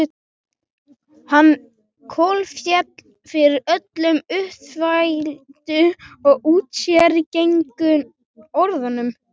Hann kolféll fyrir öllum útþvældu og úrsérgengnu orðunum.